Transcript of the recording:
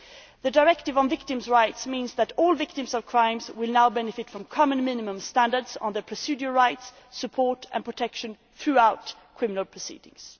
The Directive on Victims' Rights means that all victims of crimes will now benefit from common minimum standards on their procedural rights, support and protection throughout criminal proceedings.